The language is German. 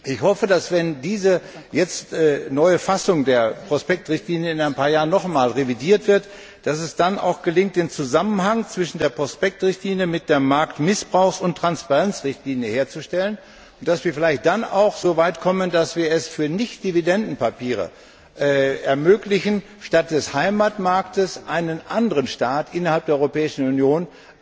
Ich hoffe, dass es, wenn diese neue Fassung der Prospektrichtlinie in ein paar Jahren noch einmal revidiert wird, dann auch gelingt, den Zusammenhang zwischen der Prospektrichtlinie und der Marktmissbrauchs und Transparenzrichtlinie herzustellen, und dass wir dann vielleicht auch so weit kommen, dass wir es für Nichtdividendenpapiere ermöglichen, statt des Heimatmarktes einen anderen Staat innerhalb der Europäischen Union